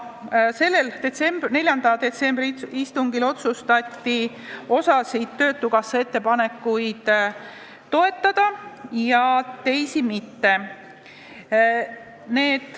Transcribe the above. Sellel 4. detsembri istungil otsustati osa töötukassa ettepanekuid toetada ja teisi mitte.